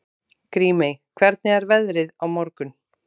Grímey, hvernig er veðrið á morgun?